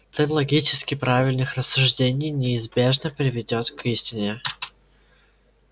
цепь логически правильных рассуждений неизбежно приведёт к истине